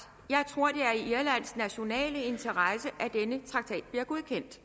jeg tror det er i irlands nationale interesse at denne traktat bliver godkendt